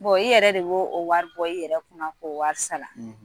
i yɛrɛ de b'o o wari bɔ? i yɛrɛ kunna k'o wari sara